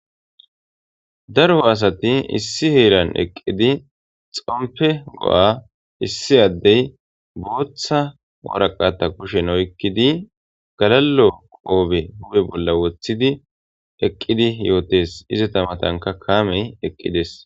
Darho asati issi heeran eqqidi xompe go'a issi addey booththa woraqata kushen oykkidi galalo qoobe hupe bolla wothidi eqqidi yootes ize tamatanka kaamey eqqides.